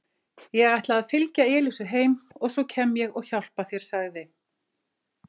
Ég ætla að fylgja Elísu heim og svo kem ég og hjálpa þér sagði